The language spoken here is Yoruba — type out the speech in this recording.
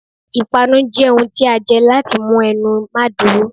ìpánú jẹ ohún tí a jẹ latí mú ẹnu mà dúrò